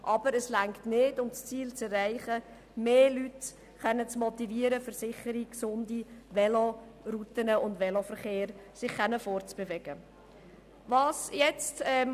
Aber es reicht nicht aus, um das Ziel zu erreichen, dass sich mehr Leute auf sicheren, gesunden Velorouten und im Veloverkehr fortbewegen können.